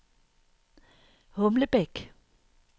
Humlebæk